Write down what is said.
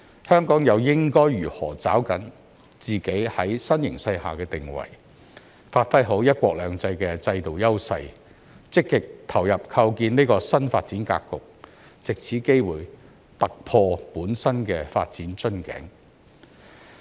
香港又應該如何抓緊在新形勢下的定位，發揮好"一國兩制"的制度優勢，積極投入構建這個新發展格局，藉這機會突破本身的發展瓶頸？